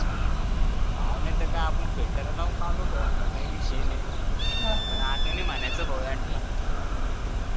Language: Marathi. हा नाही तर काय आपण filter वापरून काडू भो आता काय विषय नाही पण आता नाही म्हणायचं भो यांला